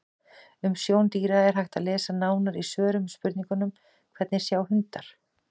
Um sjón dýra er hægt að lesa nánar í svörum við spurningunum: Hvernig sjá hundar?